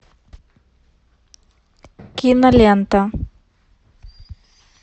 кинолента